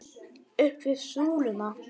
Upp við súluna!